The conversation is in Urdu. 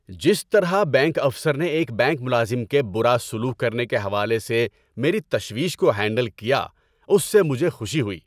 ‏جس طرح بینک افسر نے ایک بینک ملازم کے برا سلوک کرنے کے حوالے سے میری تشویش کو ہینڈل کیا، اس سے مجھے خوشی ہوئی۔